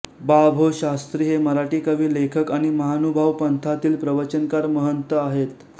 बा भो शास्त्री हे मराठी कवी लेखक आणि महानुभाव पंथातील प्रवचनकार महंत आहेत